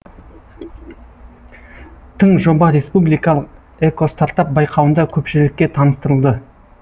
тың жоба республикалық экостартап байқауында көпшілікке таныстырылды